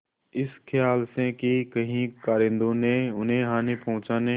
इस खयाल से कि कहीं कारिंदों ने उन्हें हानि पहुँचाने